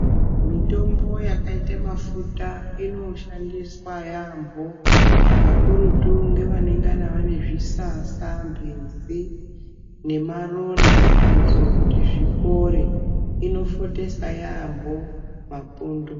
Mitombo yakaite mafuta inoshandiswa yaambo kakurutu kune vanenge vane zvisasa mbezi nemaronda kuitira kuti zvipore inofotesa yaambo mapundu.